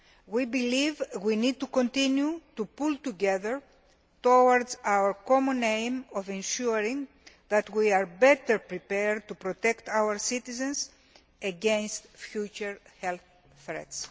We believe we need to continue to pull together towards our common aim of ensuring that we are better prepared to protect our citizens against future health threats.